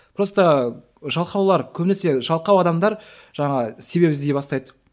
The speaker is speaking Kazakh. просто жалқаулар көбінесе жалқау адамдар жаңа себеп іздей бастайды